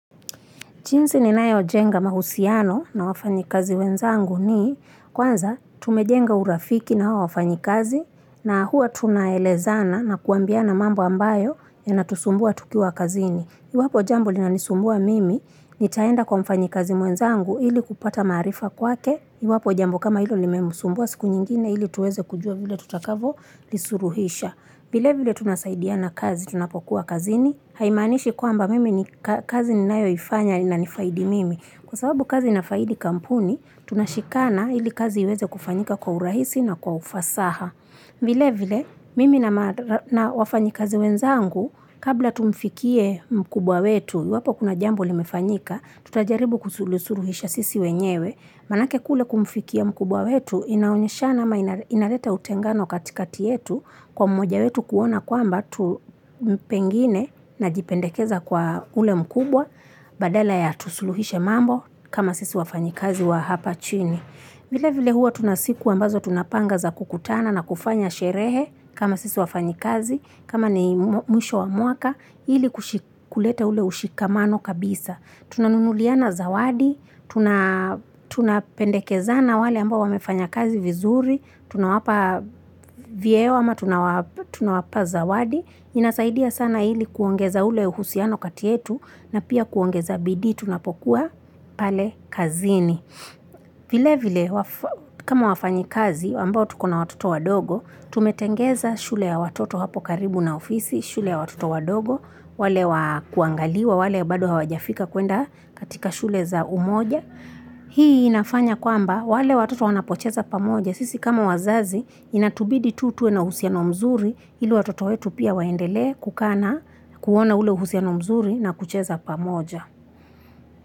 Jinsi ni nayo jenga mahusiano na wafanyi kazi wenzangu ni kwanza tumejenga urafiki na wafanyi kazi na huwa tunaelezana na kuambiana mambo ambayo yanatusumbua tukiwa kazini. Iwapo jambo linanisumbua mimi nitaenda kwa mfanyi kazi mwenzangu ili kupata maarifa kwake. Iwapo jambo kama hilo limemsumbua siku nyingine ili tuweze kujua vile tutakavo lisuluhisha. Vile vile tunasaidia na kazi tunapokuwa kazini. Haimaanishi kwamba mimi ni kazi ninayoifanya inifaidi mimi Kwa sababu kazi inafaidi kampuni Tunashikana ili kazi iweze kufanyika kwa urahisi na kwa ufasaha vile vile mimi na wafanyi kazi wenzangu Kabla tumfikie mkubwa wetu iwapo kuna jambo limefanyika Tutajaribu kusulusuruhisha sisi wenyewe Maanake kule kumfikia mkubwa wetu Inaonyeshana ama inaleta utengano katikati yetu Kwa mmoja wetu kuona kwamba watu pengine na jipendekeza kwa ule mkubwa, badala ya tusuluhishe mambo kama sisi wafanyikazi wa hapa chini. Vile vile huwa tuna siku ambazo tunapanga za kukutana na kufanya sherehe kama sisi wafanyikazi, kama ni mwisho wa mwaka, ili kushi kuleta ule ushikamano kabisa. Tunanunuliana zawadi, tunapendekezana wale ambao wamefanya kazi vizuri, tunawapa vyeo ama tunawapa zawadi, inasaidia sana ili kuongeza ule uhusiano kati yetu na pia kuongeza bidi tunapokuwa pale kazini. Vile vile kama wafanyi kazi ambao tuko na watoto wadogo, tumetengeza shule ya watoto hapo karibu na ofisi, shule ya watoto wadogo, wale wa kuangaliwa, wale bado hawajafika kuenda katika shule za umoja. Hii inafanya kwamba wale watoto wanapocheza pamoja Sisi kama wazazi inatubidi tu tuwe na uhusiano mzuri ili watoto wetu pia waendele kukaa na kuona ule uhusiano mzuri na kucheza pamoja.